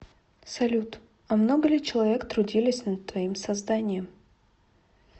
салют а много ли человек трудились над твоим созданием